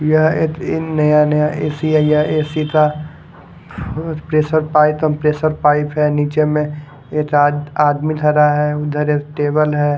यह एक इन नया नया ए_सी है है एक का प्रेशर पाइप कंप्रेसर पाइप है नीचे में एक आदमी खड़ा है उधर एक टेबल है।